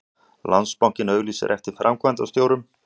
Landsbankinn auglýsir eftir framkvæmdastjórum